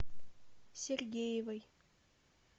сергеевой